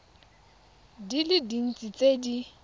di le dintsi tse di